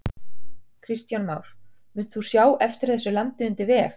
Kristján Már: Munt þú sjá eftir þessu landi undir veg?